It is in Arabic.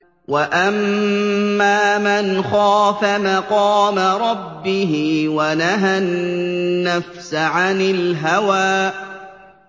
وَأَمَّا مَنْ خَافَ مَقَامَ رَبِّهِ وَنَهَى النَّفْسَ عَنِ الْهَوَىٰ